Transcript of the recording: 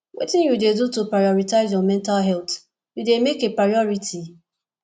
wetin you dey do to prioritize your mental health you dey make a priority